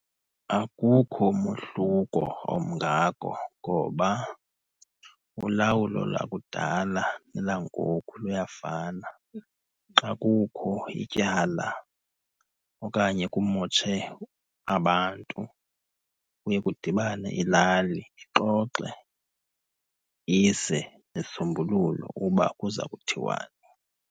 Akukho mohluko omngako ngoba ulawulo lakudala nelangoku luyafana. Xa kukho ityala okanye kumotshe abantu kuye kudibane ilali, ixoxe ise isisombululo uba kuza kuthiwani.